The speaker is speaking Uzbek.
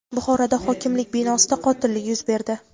Buxoroda hokimlik binosida qotillik yuz berdi.